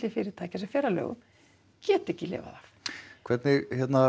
fyrirtækja sem fer að lögum geta ekki lifað af hvernig